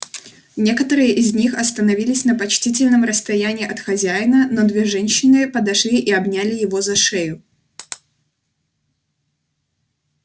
некоторые из них остановились на почтительном расстоянии от хозяина но две женщины подошли и обняли его за шею